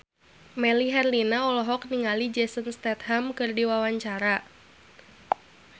Melly Herlina olohok ningali Jason Statham keur diwawancara